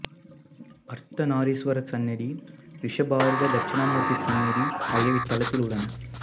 அர்த்தநாரீசுவரர் சந்நிதி ரிஷபாரூட தட்சிணாமூர்த்தி சந்நிதி ஆகியவை இத்தலத்தில் உள்ளன